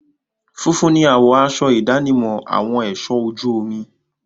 Funfun ni àwọ̀ aṣọ ìdánimọ̀ àwọn ẹ̀ṣọ ojú omi.